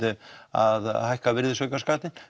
að hækka virðisaukaskattinn